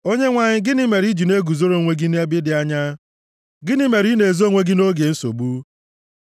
Onyenwe anyị, gịnị mere i ji na-eguzoro onwe gị nʼebe dị anya? Gịnị mere ị na-ezo onwe gị nʼoge nsogbu?